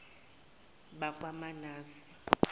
bakwamanase